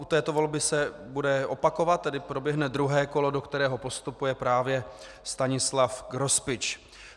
U této volby se bude opakovat, tedy proběhne druhé kolo, do kterého postupuje právě Stanislav Grospič.